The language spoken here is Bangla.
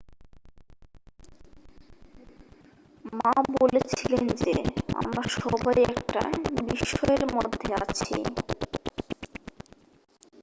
"মা বলেছিলেন যে "আমরা সবাই একটা বিস্ময়ের মধ্যে আছি""।